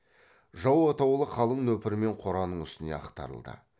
жау атаулы қалың нөпірмен қораның үстіне ақтарылды